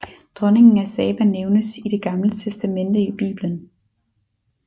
Dronningen af Saba nævnes i Det Gamle Testamente i Bibelen